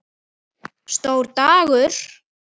Stór dagur?